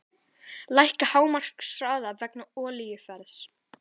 Lækka hámarkshraða vegna olíuverðs